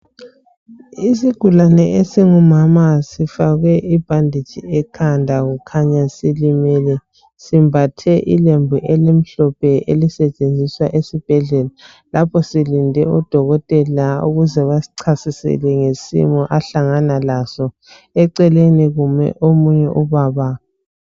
Isigulane esingumama sifakwe ibhanditshi ekhada kukhanya silimele simbathe ilembu elimhlophe elisetshenziswa esibhedlela lapho silinde udokotela ukuze basichasisele ngesimo esihlangana laso eceleni kume ubaba.